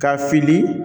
K'a fili